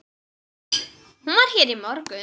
Hún var hér í morgun.